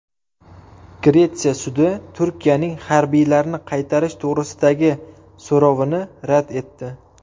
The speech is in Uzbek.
Gretsiya sudi Turkiyaning harbiylarni qaytarish to‘g‘risidagi so‘rovini rad etdi.